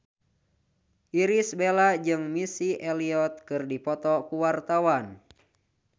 Irish Bella jeung Missy Elliott keur dipoto ku wartawan